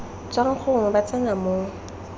tswang gongwe ba tsena mo